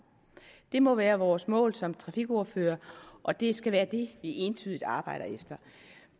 det må være vores mål som trafikordførere og det skal være det vi entydigt arbejder efter